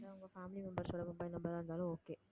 இல்ல உங்க family members ஓட mobile number ஆ இருந்தாலும் okay